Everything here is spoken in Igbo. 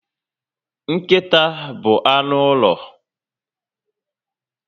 Nkịta bụ anụ ụlọ